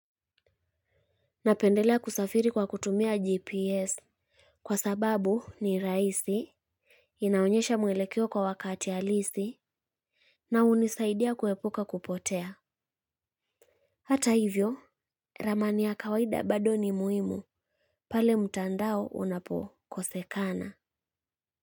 Napendelea kusafiri kwa kutumia GPS. Kwa sababu ni rahisi. Inaonyesha mwelekeo kwa wakati ya halisi. Na hunisaidia kuepuka kupotea. Hata hivyo, ramani ya kawaida bado ni muhimu. Pale mtandao unapokosekana.